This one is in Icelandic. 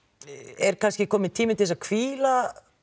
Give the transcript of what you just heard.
er kannski kominn tími til að hvíla